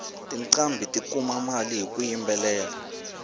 tiqambhi ti kuma mali hiku yimbelela